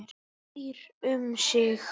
Býr um sig.